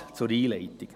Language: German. Das als Einleitung.